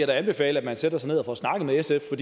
da anbefale at man sætter sig ned og får snakket med sf for